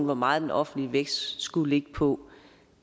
hvor meget den offentlige vækst skulle ligge på